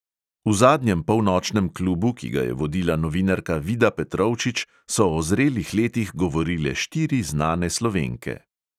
V zadnjem polnočnem klubu, ki ga je vodila novinarka vida petrovčič, so o zrelih letih govorile štiri znane slovenke.